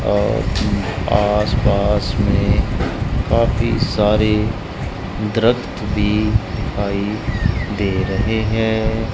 और आसपास में काफी सारे द्रख्त भी दिखाई दे रहे हैं।